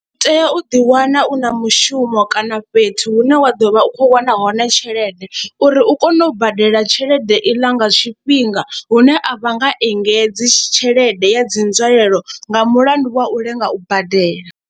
U tea u ḓi wana u na mushumo kana fhethu hune wa ḓo vha u khou wana hone tshelede uri u kone u badela tshelede iḽa nga tshifhinga hune a vha nga engedze tshelede ya dzi nzwalelo nga mulandu wa u lenga u badela.